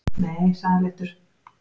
Nei sagði hann léttur.